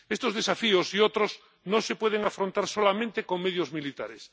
Estos desafíos y otros no se pueden afrontar solamente con medios militares.